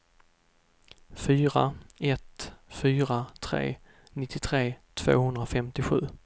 fyra ett fyra tre nittiotre tvåhundrafemtiosju